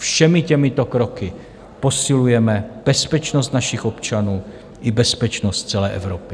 Všemi těmito kroky posilujeme bezpečnost našich občanů i bezpečnost celé Evropy.